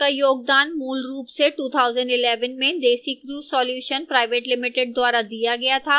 इस tutorial का योगदान मूलरूप से 2011 में desicrew solutions pvt ltd द्वारा दिया गया था